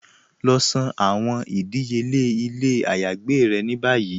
Lọ san àwọn ìdíyèle ilẹ̀ àyágbè rẹ̀ ní báyí.